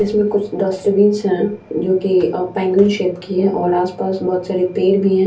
इसमें कुछ डस्टबिंस है जो की पेंगुइन सेप की है और आस-पास बहुत सारे पेड़ भी है।